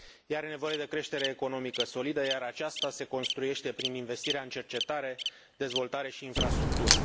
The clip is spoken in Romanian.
Ea are nevoie de creștere economică solidă, iar aceasta se construiește prin investirea în cercetare, dezvoltare și infrastructură.